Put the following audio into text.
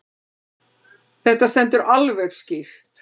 Þetta stendur alveg skýrt.